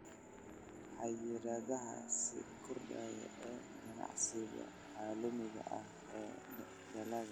Xayiraadaha sii kordhaya ee ganacsiga caalamiga ah ee dalagga.